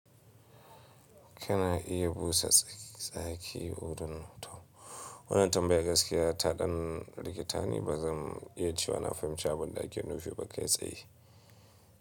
Kana iya busa tsaki udin. Wannan tambaya gaskiya taɗan rikitani ba zan iya cewa na fahimci ba, dan da kiyo nufi ba ka yi tsayi.